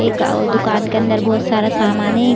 एक औ दुकान के अंदर बोहोत सारा समान ए ।